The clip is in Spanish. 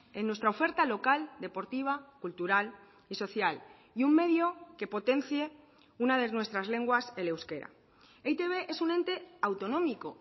en nuestra oferta local deportiva cultural y social y un medio que potencie una de nuestras lenguas el euskera e i te be es un ente autonómico